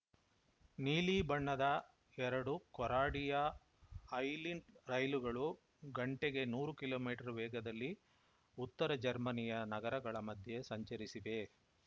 ನೀಲಿ ಬಣ್ಣದ ಎರಡು ಕೊರಾಡಿಯಾ ಐಲಿಂಟ್‌ ರೈಲುಗಳು ಗಂಟೆಗೆ ನೂರು ಕಿಲೋ ಮೀಟರ್ ವೇಗದಲ್ಲಿ ಉತ್ತರ ಜರ್ಮನಿಯ ನಗರಗಳ ಮಧ್ಯೆ ಸಂಚರಿಸಿವೆ